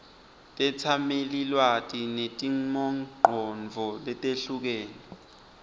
tetsamelilwati netimongcondvo letehlukene